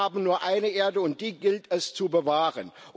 Wir haben nur eine Erde, und die gilt es zu bewahren.